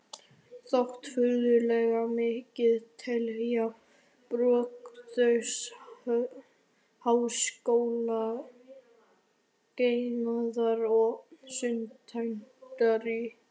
Þótt furðulegt megi telja, brugðust háskólakennarar og stúdentar í